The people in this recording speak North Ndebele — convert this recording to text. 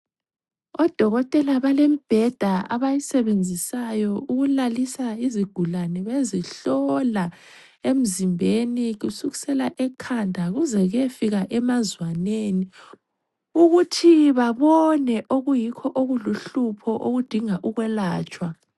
Odokotela bale mbheda abayisebenzisayo ukulalisa izigulane bezihlola emzimbeni kusukisela ekhanda kuze kuyefika emazwaneni ukuthi babone okuyikho okuluhlupho okudinga ukwelatshwa